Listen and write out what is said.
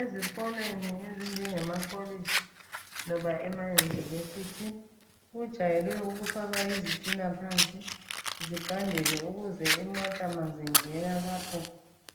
Ezikolweni ezinjenge makolitshi loba ema University kujayelwe ukufakwa izitina phansi zigandele ukuze imota ma zingena lapha